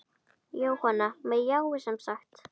Jóhanna: Með jái, semsagt?